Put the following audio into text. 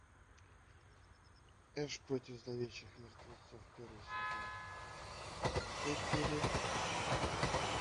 эш против зловещих мертвецов первый сезон четвертая серия